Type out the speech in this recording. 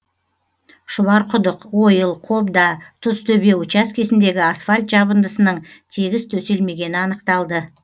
шұбарқұдық ойыл қобда тұзтөбе учаскесіндегі асфальт жабындысының тегіс төселмегені анықталды